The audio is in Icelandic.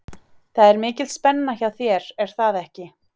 Það er mikil spenna hjá þér er það ekki?